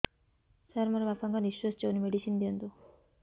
ସାର ମୋର ବାପା ଙ୍କର ନିଃଶ୍ବାସ ଯାଉନି ମେଡିସିନ ଦିଅନ୍ତୁ